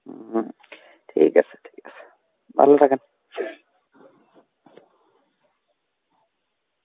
হম, ঠিক আছে ঠিক আছে. ভালো থাকেন.